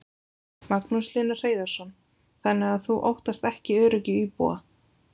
Magnús Hlynur Hreiðarsson: Þannig að þú óttast ekki öryggi íbúa?